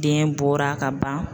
Den bɔra ka ban